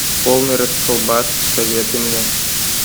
полный расколбас посоветуй мне